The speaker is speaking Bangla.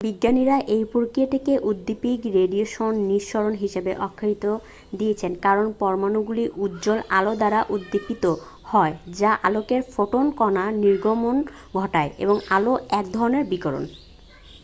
"বিজ্ঞানীরা এই প্রক্রিয়াটিকে "উদ্দীপিত রেডিয়েশন নিঃসরণ" হিসাবে আখ্যা দিয়েছেন কারণ পরমাণুগুলি উজ্জ্বল আলো দ্বারা উদ্দীপিত হয় যা আলোকের ফোটন কণার নির্গমন ঘটায় এবং আলো এক ধরণের বিকিরণ।